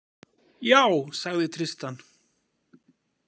Já, sagði Tristan.